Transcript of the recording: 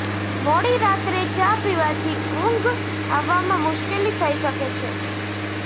મોડી રાત્રે ચા પીવાથી ઉંઘ આવવામાં મુશ્કેલી થઈ શકે છે